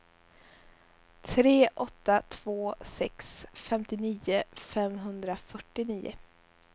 tre åtta två sex femtionio femhundrafyrtionio